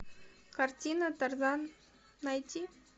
картина тарзан найти